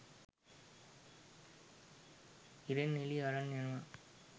ඉරෙන් එළිය අරන් යනවා